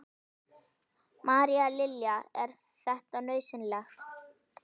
María Lilja: Er þetta nauðsynlegt?